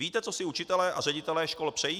Víte, co si učitelé a ředitelé škol přejí?